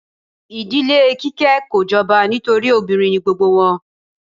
Ìdílé Kíké kò jọba nítorí obìnrin ni gbogbo wọn.